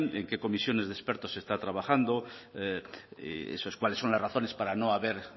en qué comisiones de expertos se está trabajando esos cuáles son las razones para no haber